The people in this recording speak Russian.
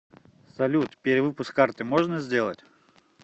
салют перевыпуск карты можно сделать